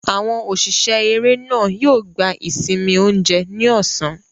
Àwọn òṣìṣẹ́ eré náà yóò gba ìsinmi oúnjẹ ní ọ̀sán.